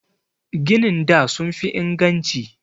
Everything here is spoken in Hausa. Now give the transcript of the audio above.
Ginin da sun fi inganci.